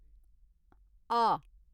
आ